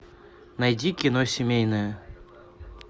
найди кино семейное